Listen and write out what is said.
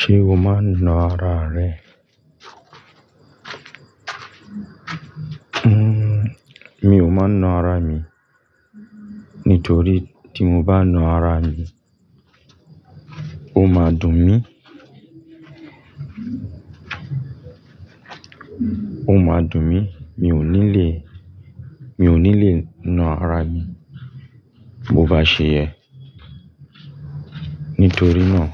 Ṣé o máa ń na ara rẹ? Mi ò máa ń na ara mi. Nítorí tí mo bá na ara mi, ó máa dùn mí. Ó máa dùn mí, mi ò ní le, mi ò ní le na ara mi. Bo bá ṣe yẹn, nítorí náà